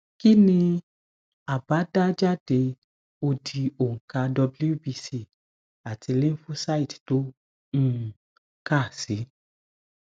kini abadajade odi onka wbc ati lymphocyte to um ka si